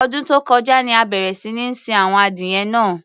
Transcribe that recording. Ọdún tó kọjá ni a bẹ̀rẹ̀ sí ní sin àwọn adìyẹ náà.